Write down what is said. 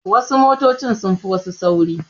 Wasu motoci sun fi wasu sauri.